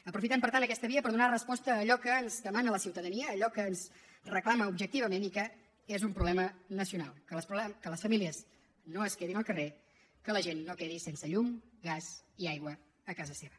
aprofitem per tant aquesta via per donar resposta a allò que ens demana la ciutadania a allò que ens reclama objectivament i que és un problema nacional que les famílies no es quedin al carrer que la gent no quedi sense llum gas i aigua a casa seva